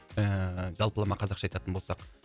ііі жалпылама қазақша айтатын болсақ